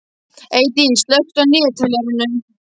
Eydís, slökktu á niðurteljaranum.